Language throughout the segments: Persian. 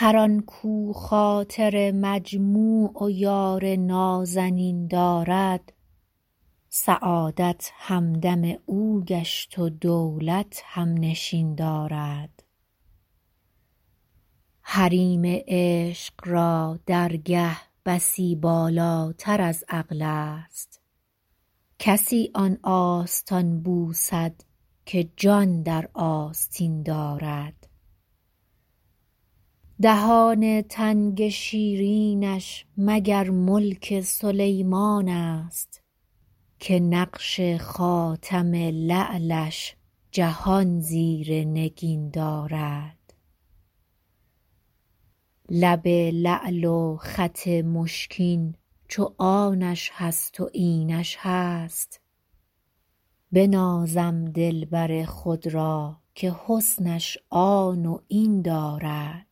هر آن کاو خاطر مجموع و یار نازنین دارد سعادت همدم او گشت و دولت هم نشین دارد حریم عشق را درگه بسی بالاتر از عقل است کسی آن آستان بوسد که جان در آستین دارد دهان تنگ شیرینش مگر ملک سلیمان است که نقش خاتم لعلش جهان زیر نگین دارد لب لعل و خط مشکین چو آنش هست و اینش هست بنازم دلبر خود را که حسنش آن و این دارد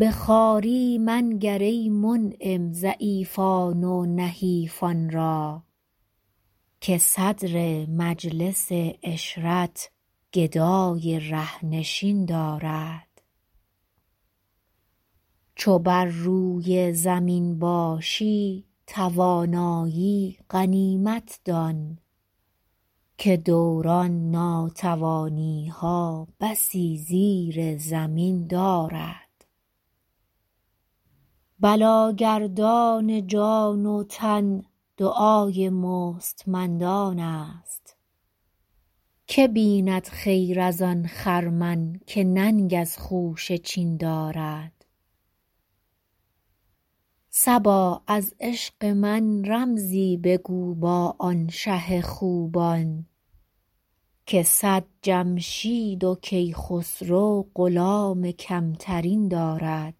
به خواری منگر ای منعم ضعیفان و نحیفان را که صدر مجلس عشرت گدای ره نشین دارد چو بر روی زمین باشی توانایی غنیمت دان که دوران ناتوانی ها بسی زیر زمین دارد بلاگردان جان و تن دعای مستمندان است که بیند خیر از آن خرمن که ننگ از خوشه چین دارد صبا از عشق من رمزی بگو با آن شه خوبان که صد جمشید و کیخسرو غلام کم ترین دارد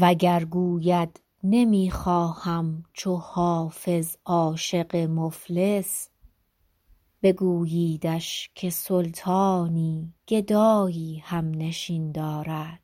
وگر گوید نمی خواهم چو حافظ عاشق مفلس بگوییدش که سلطانی گدایی هم نشین دارد